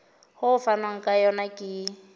ho fanwang ka yona ke